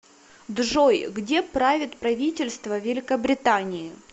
джой где правит правительство великобритании